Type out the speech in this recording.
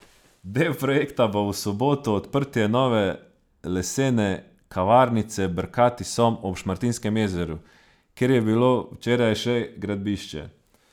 Del projekta bo v soboto odprtje nove lesene kavarnice Brkati som ob Šmartinskem jezeru, kjer je bilo včeraj še gradbišče.